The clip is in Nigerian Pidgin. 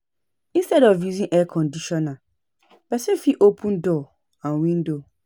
Instead of using Air Conditioner, person fit open door and window